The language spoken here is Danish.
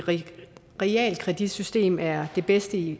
realkreditsystem er det bedste i